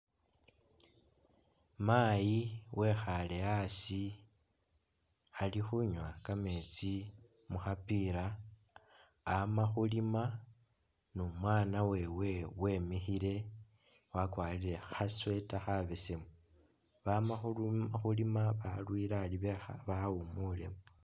Mayi wekhaale asi ali khunywa kameetsi mu khapila ama khulima ni umwaana wewe wemikhile wakwarire kha sweater khabesemu. Bama khulima balwile ari bekha bawumulemu.